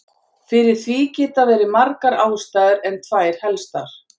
Fyrir því geta verið margar ástæður en tvær helstar.